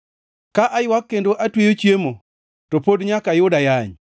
Ka aywak kendo atweyo chiemo to pod nyaka ayud ayany;